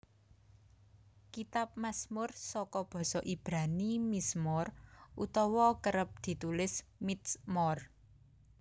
Kitab Masmur saka basa Ibrani mizmor utawa kerep ditulis mitsmor